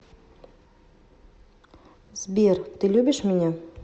сбер ты любишь меня